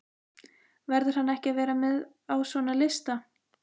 Verður hann ekki að vera með á svona lista?